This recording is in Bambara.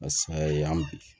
an bi